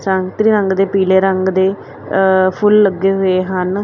ਸੰਤਰੀ ਰੰਗ ਦੇ ਪੀਲੇ ਰੰਗ ਦੇ ਫੁੱਲ ਲੱਗੇ ਹੋਏ ਹਨ।